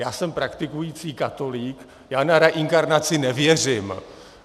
Já jsem praktikující katolík, já na reinkarnaci nevěřím.